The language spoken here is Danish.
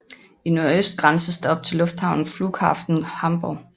I nordøst grænses der op til lufthavnen Flughafen Hamburg